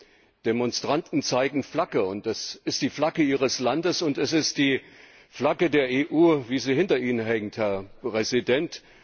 Die Demonstranten zeigen Flagge, und das ist die Flagge ihres Landes, und es ist die Flagge der EU, wie sie hinter Ihnen hängt, Herr Präsident.